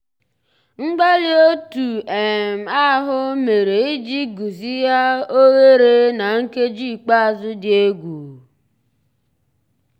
mgbàlí ótú um àhụ́ mérè ìjì gùzíghà óghéré ná nkèjí ikpéázụ́ dị́ égwu.